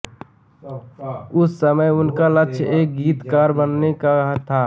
उस समय उनका लक्ष्य एक गीतकार बनने का था